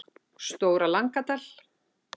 Stóra Langadal